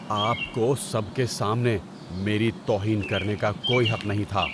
آپ کو سب کے سامنے میری توہین کرنے کا کوئی حق نہیں تھا۔